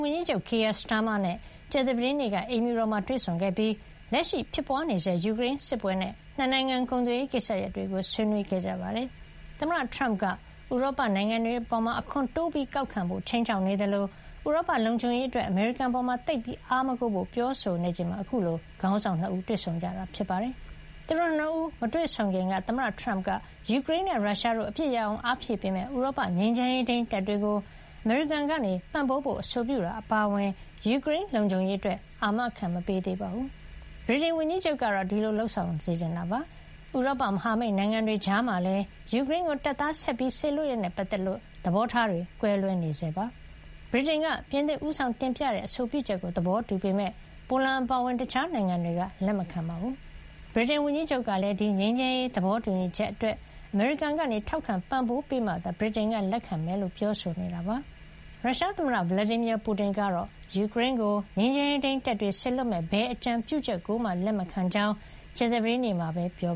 ဝန်ကြီးချုပ် Keir Starmer နဲ့ ကြာသပတေးနေ့က အိမ်ဖြူတော်မှာ တွေ့ဆုံခဲ့ပြီး လက်ရှိ ဖြစ်ပွါးနေဆဲ ယူကရိန်းစစ်ပွဲနဲ့ ၂ နိုင်ငံ ကုန်သွယ်ရေးကိစ္စရပ်တွေကို ဆွေးနွေးခဲ့ကြပါတယ်။ သမ္မတ တရမ့်က ဥရောပနိုင်ငံတွေအပေါ် အခွန်တိုးကောက်ခံဖို့ ခြိမ်းခြောက်နေသလို၊ ဥရောပ လုံခြုံရေးအတွက် အမေရိကန်အပေါ် သိပ်အားမကိုးဖို့ ပြောဆိုနေချိန်မှာ အခုလို ခေါင်းဆောင် ၂ ဦး တွေ့ဆုံကြတာ ဖြစ်ပါတယ်။ သူတို့ ၂ ဦး မတွေ့ဆုံခင်က သမ္မတထရမ့်က ယူကရိန်းနဲ့ ရုရှားတို့ အပစ်ရပ်အောင် အားဖြည့်ပေးမယ့် ဥရောပ ငြိမ်းချမ်းရေးထိန်း တပ်တွေကို အမေရိကန်က ပံ့ပိုးဖို့ အဆိုပြုတာ အပါအဝင် ယူကရိန်း လုံခြုံရေးအတွက် အာမ မခံသေးပါဘူး။ ဗြိတိန်ဝန်ကြီးချုပ်ကတော့ ဒီလို လုပ်ဆောင်စေချင်နေတာဖြစ်ပါတယ်။ ဥရောပမဟာမိတ် နိုင်ငံတွေ ကြားမှာလည်း ယူကရိန်းကို တပ်သား ဆက်ပြီး စေလွှတ်ရေးနဲ့ ပတ်သက်လို့ သဘောထား ကွဲလွဲနေဆဲ ဖြစ်ပါတယ်။ ဗြိတိန်က ပြင်သစ်ဦးဆောင် တင်ပြတဲ့ အဆိုပြုချက်ကို သဘောတူပေမယ့် ပိုလန် အပါအဝင် တခြားနိုင်ငံတွေက လက်မခံကြပါဘူး။ ဗြိတိန်ဝန်ကြီးချုပ်ကလည်း ဒီငြိမ်းချမ်းရေး သဘောတူညီချက်အတွက် အမေရိကန်က ထောက်ခံ ပံ့ပိုးပေးမှသာ ဗြိတိန်က လက်ခံမှာ ဖြစ်ကြောင်း ပြောနေတာ ဖြစ်ပါတယ်။ ရုရှားသမ္မတ Vladimir Putin ကတော့ ယူကရိန်းကို ငြိမ်းချမ်းရေးထိန်း တပ်တွေ စေလွှတ်မယ့် ဘယ် အကြံပြုချက်ကိုမှ လက်မခံကြောင်း ကြာသပတေးနေ့မှာပဲ ပြော